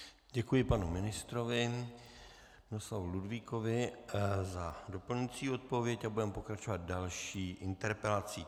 Děkuji panu ministrovi Miloslavu Ludvíkovi za doplňující odpověď a budeme pokračovat další interpelací.